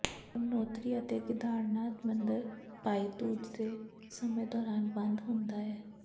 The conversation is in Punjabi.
ਯਮੁਨੋਤਰੀ ਅਤੇ ਕੇਦਾਰਨਾਥ ਮੰਦਰ ਭਾਈ ਧੂਜ ਦੇ ਸਮੇਂ ਦੌਰਾਨ ਬੰਦ ਹੁੰਦਾ ਹੈ